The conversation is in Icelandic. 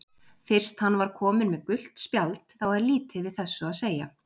Fyrst hann var kominn með gult spjald þá er lítið við þessu að segja.